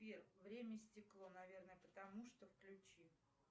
сбер время и стекло наверное потому что включи